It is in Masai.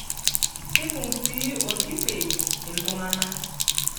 Keibung' sii olkipei iltung'anak.